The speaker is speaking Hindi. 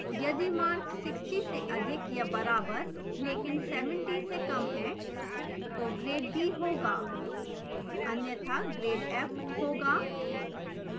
यदि mark 60 से अधिक या बराबर लेकिन 70 से कम हैं तो grade d होगा अन्यथा grade f होगा